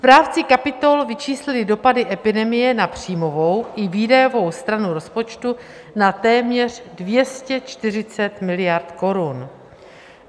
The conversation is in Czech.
Správci kapitol vyčíslili dopady epidemie na příjmovou i výdajovou stranu rozpočtu na téměř 240 miliard korun.